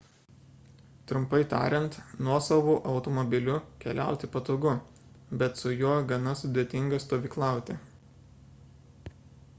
trumpai tariant nuosavu automobiliu keliauti patogu bet su juo gana sudėtinga stovyklauti